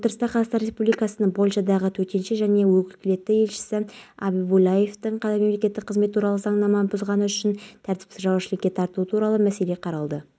алматы аулаларының тазалығы сын көтермейді тазалық сақшылары күн сайын рейд ұйымдастырып қоршаған ортаға залал келтіргендерге айыппұл